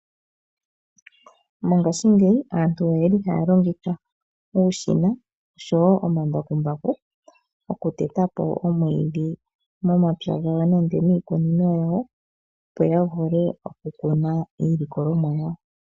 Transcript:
Mongashingeyi aantu otaya longitha uushina osho wo omambakumbaku okuteta po omwiidhi momapya nenge miikunino opo ya vule okukuna iilikolomwa.